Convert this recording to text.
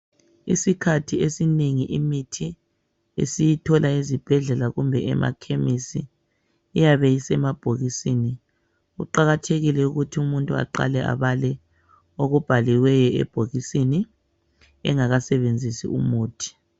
Isikhathi esinengi imithi esiyithola ezibhedlela kumbe emakhemisi iyabe isemabhokisini. Kuqakathekile ukuthi umuntu aqale abale okubhaliweyo ebhokisini engakasebenzisi umuthi.